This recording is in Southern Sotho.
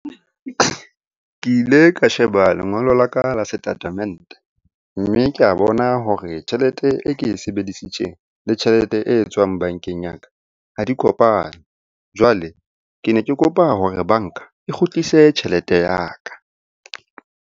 Ke ile ka sheba lengolo la ka la setatamente, mme ke a bona hore tjhelete e ke e sebedisitseng le tjhelete e etswang bankeng ya ka ha di kopane. Jwale ke ne ke kopa hore banka e kgutlise tjhelete ya ka.